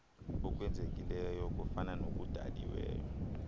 okwenzekileyo kuyafana nokudaliweyo